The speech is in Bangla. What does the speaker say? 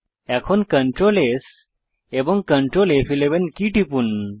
এখন Ctrl S এবং Ctrl ফ11 কী টিপুন